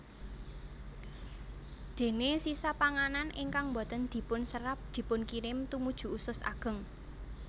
Déné sisa panganan ingkang boten dipunserep dipunkirim tumuju usus ageng